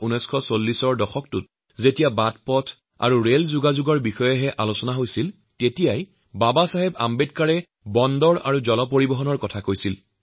১৯৩০ আৰু ১৯৪০ৰ দশকসমূহত যেতিয়া কেৱল পথ ৰাজপথ আৰু ৰেল সম্প্ৰসাৰণৰ পৰিকল্পনা কৰা হৈছিল সেইসময়তো ড০ আম্বেদকাৰে বন্দৰ আৰু জলপথ গঢ় দিয়াৰ কথা কৈছিল